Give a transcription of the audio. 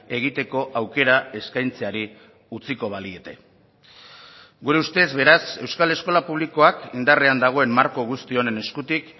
egiteko aukera eskaintzeari utziko baliete gure ustez beraz euskal eskola publikoak indarrean dagoen marko guzti honen eskutik